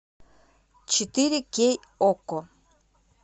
четыре кей окко